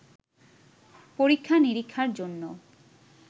পরীক্ষা-নিরীক্ষার জন্য